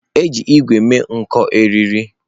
Eji ígwè mee nko eriri.